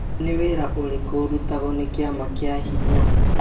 Nĩ wira ũrikũ ũrutagwo nĩ kĩama kia hinya?